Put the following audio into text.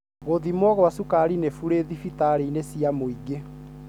Gũthimwo gwa sukari nĩ bure dhibitarĩini cia mwingĩ.